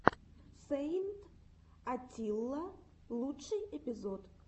сэйнт атилла лучший эпизод